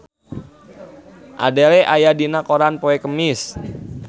Adele aya dina koran poe Kemis